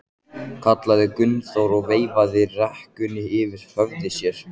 kallaði Gunnþór og veifaði rekunni yfir höfði sér.